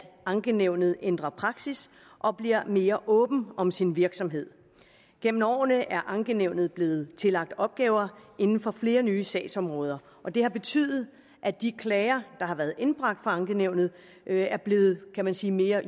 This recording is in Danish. ankenævnet ændrer praksis og bliver mere åben om sin virksomhed gennem årene er ankenævnet blevet tillagt opgaver inden for flere nye sagsområder og det har betydet at de klager der har været indbragt for ankenævnet er blevet kan man sige mere